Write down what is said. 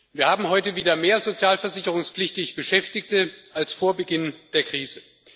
Wir haben heute wieder mehr sozialversicherungspflichtig Beschäftigte als vor Beginn der Krise.